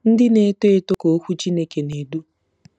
Ndị Na-eto Eto—Ka Okwu Chineke Na-edu